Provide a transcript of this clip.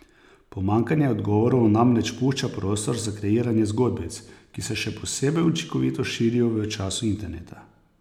Pomanjkanje odgovorov namreč pušča prostor za kreiranje zgodbic, ki se še posebej učinkovito širijo v času interneta.